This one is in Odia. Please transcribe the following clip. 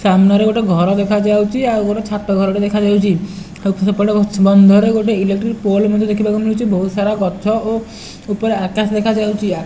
ସାମ୍ନାରେ ଗୋଟେ ଘର ଦେଖାଯାଉଛି ଆଉ ଗୋଟେ ଛାତ ଘରଟେ ଦେଖାଯାଉଛି ଆଉ ସେପଟେ ବନ୍ଧରେ ଗୋଟେ ଇଲେକ୍ଟ୍ରି ପୋଲ ମଧ୍ୟ ଦେଖିବାକୁ ମିଳୁଛି ବହୁତ୍ ସାରା ଗଛ ଓ ଉପରେ ଆକାଶ ଦେଖାଯାଉଛି।